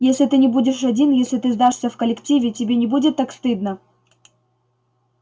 если ты не будешь один если ты сдашься в коллективе тебе не будет так стыдно